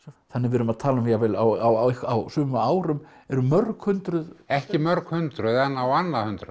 þannig að við erum að tala um jafnvel á sumum árum eru mörg hundruð ekki mörg hundruð en á annað hundrað